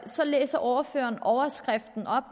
så læser ordføreren overskriften op